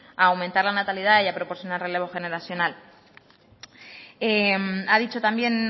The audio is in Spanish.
a aumentar la natalidad y a proporcionar relevo generacional ha dicho también